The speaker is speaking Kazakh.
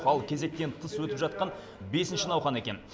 ал кезектен тыс өтіп жатқан бесінші науқан екен